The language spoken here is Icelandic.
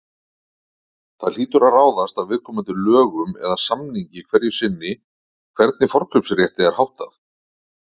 Hlýtur það að ráðast af viðkomandi lögum eða samningi hverju sinni hvernig forkaupsrétti er háttað.